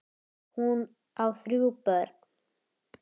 Hún á þrjú börn.